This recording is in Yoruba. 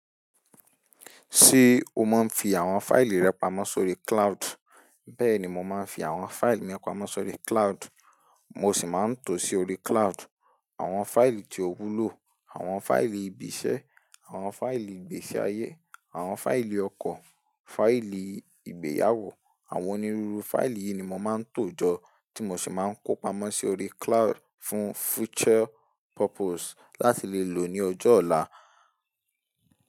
Ṣé o máa ń fi àwọn fáìlì rẹ pamọ́ sórí cloud? Bẹ́ẹ̀ni, mo máa ń fi àwọn fáìlì mi pamọ́ sórí cloud, mo sì máa ń tò sí orí cloud. Àwọn fáìlì tí ó wúlò, àwọn fáìlì ibi iṣẹ́, àwọn fáìlì ìgbésí ayé, àwọn fáìlì ọkọ, fáìlì ìgbéyàwó, àwọn onírúurú fáìlì yìí ni mo máa ń tọ́jọ́ tí mo sì máa ń kó pamọ́ sí orí cloud fún future purpose láti lè lò ó ní ọjọ́ ọ̀la.